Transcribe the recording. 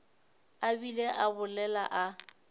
a bile a bolela a